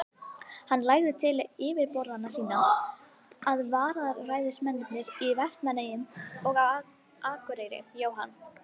Hann lagði til við yfirboðara sína, að vararæðismennirnir í Vestmannaeyjum og á Akureyri, Jóhann